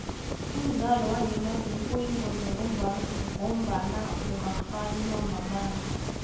umdlalo wangemanzini uyingozi ngoba ungakganywa mamanzi